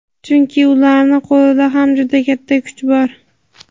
chunki ularni qo‘lida ham juda katta kuch bor.